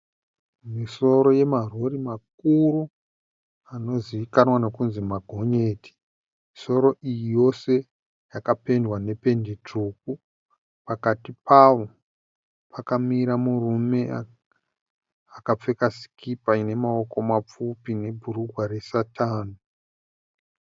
Misoro yemarori makuru anozivikanwa nekunzi magonyeti. Misoro iyi yose yakapendwa nependi tsvuku. Pakati pawo pakamira murume akapfeka sikipa ine maoko mapfupi nebhurugwa resatani.